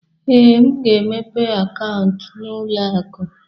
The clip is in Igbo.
Ee, m ga-emepe akaụntụ n'ụlọ akụ.